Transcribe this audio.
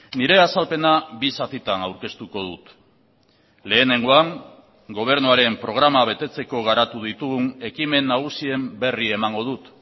nire azalpena bi zatitan aurkeztuko dut lehenengoan gobernuaren programa betetzeko garatu ditugun ekimen nagusien berri emango dut